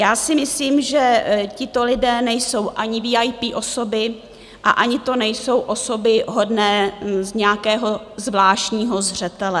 Já si myslím, že tito lidé nejsou ani VIP osoby a ani to nejsou osoby hodné nějakého zvláštního zřetele.